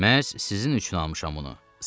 Məhz sizin üçün almışam bunu.